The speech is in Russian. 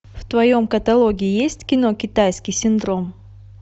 в твоем каталоге есть кино китайский синдром